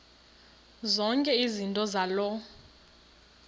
zonke izinto zaloo